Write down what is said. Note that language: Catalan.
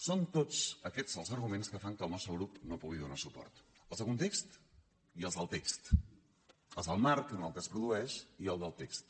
són tots aquests els arguments que fan que el nostre grup no pugui donar suport els de context i els del text els del marc en què es produeix i el del text